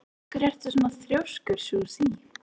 Af hverju ertu svona þrjóskur, Susie?